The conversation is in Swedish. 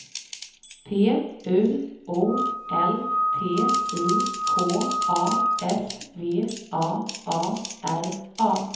P U O L T I K A S V A A R A